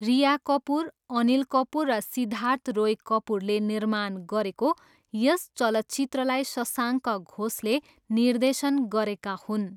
रिया कपुर, अनिल कपुर र सिद्धार्थ रोय कपुरले निर्माण गरेको यस चलचित्रलाई शशाङ्क घोषले निर्देशन गरेका हुन्।